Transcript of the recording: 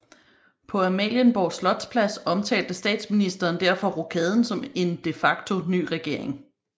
På Amalienborg Slotspl ads omtalte Statsministeren derfor rokaden som en de facto ny regering